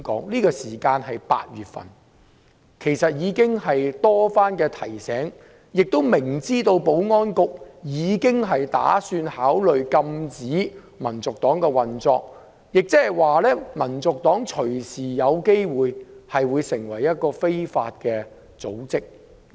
其實馬凱先生已經被多番提醒，亦明知道保安局已宣布會考慮禁止香港民族黨運作，即是說，香港民族黨隨時有機會成為一個非法組織。